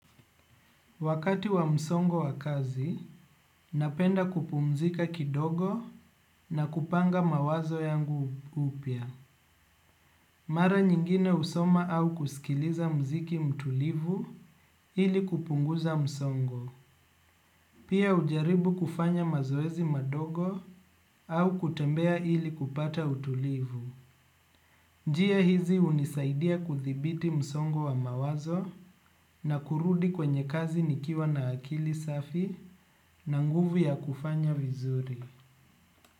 Wakati wa msongo wa kazi, napenda kupumzika kidogo na kupanga mawazo yangu upya. Mara nyingine husoma au kusikiliza mziki mtulivu ili kupunguza msongo. Pia hujaribu kufanya mazoezi madogo au kutembea ili kupata utulivu. Njia hizi hunisaidia kuthibiti msongo wa mawazo na kurudi kwenye kazi nikiwa na akili safi na nguvu ya kufanya vizuri.